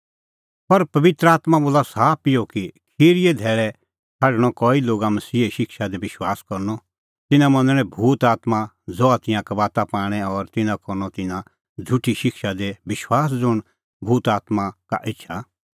पर पबित्र आत्मां बोला साफ इहअ कि खिरीए धैल़ै छ़ाडणअ कई लोगा मसीहे शिक्षा दी विश्वास करनअ तिन्नां मनणै भूत आत्मां ज़हा तिंयां कबाता पाणै और तिन्नां करनअ तिन्नां झ़ुठी शिक्षा दी विश्वास ज़ुंण भूत आत्मां का एछा